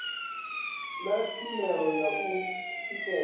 na tshumelo ya u tikedza